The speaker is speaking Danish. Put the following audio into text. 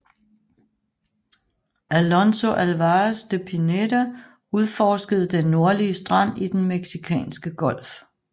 Alonso Álvarez de Pineda udforskede den nordlige strand i Den meksikanske Golf